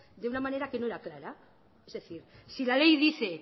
de una manera que no era clara es decir si la ley dice